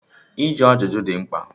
Ọ bụ site na ajụjụ ka a na ahụ mkpi mmụọ